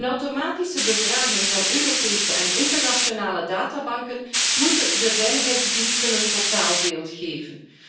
Een automatische bevraging van Europese en internationale databanken moet de veiligheidsdiensten een totaalbeeld geven.